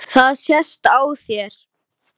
Það sést á þér